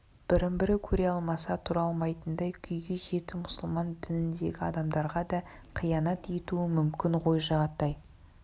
бірін-бірі көре алмаса тұра алмайтындай күйге жетті мұсылман дініндегі адамдарға да қиянат етуі мүмкін ғой жағатай